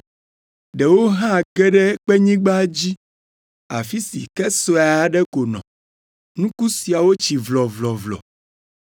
Ɖewo hã ge ɖe kpenyigba dzi, afi si ke sue aɖe ko nɔ; nuku siawo tsi vlɔvlɔvlɔ,